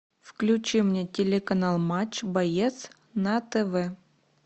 включи мне телеканал матч боец на тв